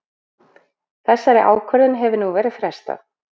Þessari ákvörðun hefur nú verið frestað